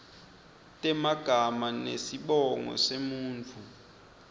temagama nesibongo semuntfu